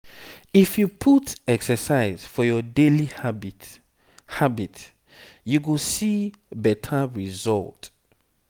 if you put exercise for your daily habit habit you go see better result.